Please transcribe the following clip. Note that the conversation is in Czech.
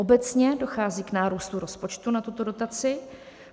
Obecně dochází k nárůstu rozpočtu na tuto dotaci.